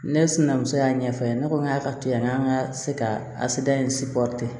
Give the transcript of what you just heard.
Ne sinamuso y'a ɲɛfɔ a ye ne ko ŋ'a ka to yan n'an ka se ka